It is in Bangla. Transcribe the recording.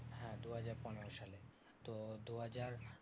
হ্যাঁ দুহাজার পনেরো সালে। তো দুহাজার